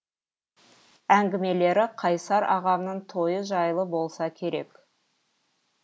әңгімелері қайсар ағамның тойы жайлы болса керек